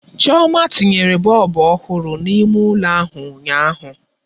Chioma tinyere bọlbụ ọhụrụ n'ime ụlọ ahụ ụnyaahụ.